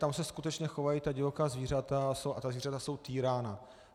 Tam se skutečně chovají ta divoká zvířata a ta zvířata jsou týrána.